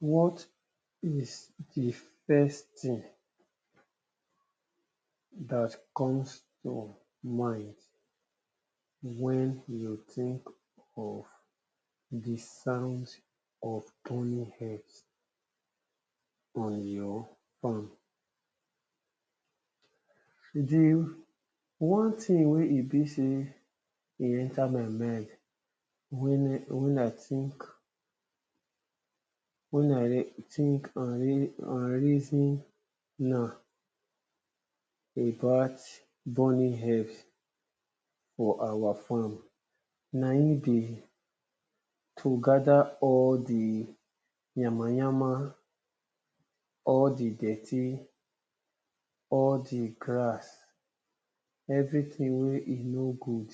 What is di first thing dat come to mind wen you think of di sound of running herb on your farm? Di first thing wey e be sey e enter my mind, wen I think wen I and think and reason am about burning herbs for our farm, na im be to gather all di yama yama, all di dirty, all di grass, everything wey e no good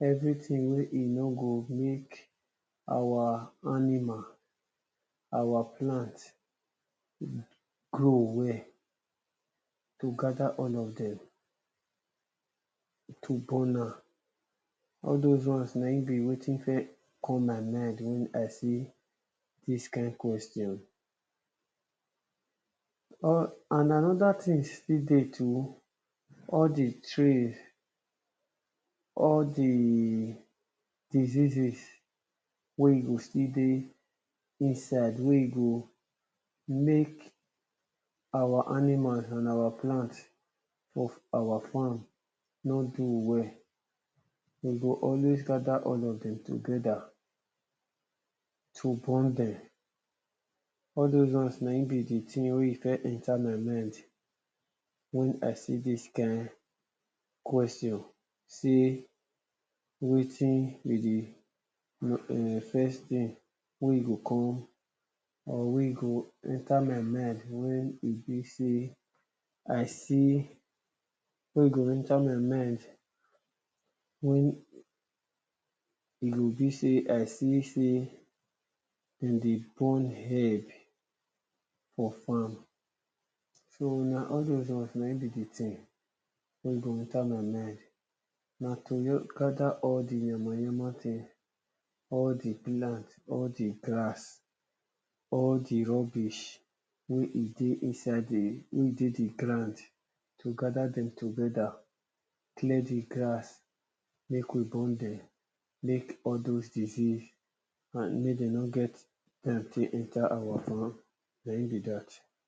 everything wey e no good make our animal our plant grow well, to gather all of dem to burn am, all doz one na im be wetin first come my mind wen I see dis kind question or and another thing still dey too, all di trees all di diseases wey e go still dey inside wey e go make our animals and our plant of our farm nor do well, e go always gather all of dem together to burn dem, all doz one na im be di thing wey e first enter my mind wen I see dis kind question sey wetin you dey [urn] first think wey e go come or wey e go enter my mind wey e be sey I see, wey e go enter my mind wen e go be sey I see sey, dem dey burn herb for farm so na all doz ones na im be di thing wen e go enter my mind, na to just gathe r all do yama yama sey all di plant, all di grass, all di rubbish wey e dey inside di, wey dey di ground to gather dem together, clear di grass, make we burn dem, make all doz disease and make dem nor et time take enter our farm, na im be dat.